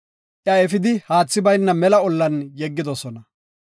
Iya efidi haathi bayna mela ollan yeggidosona.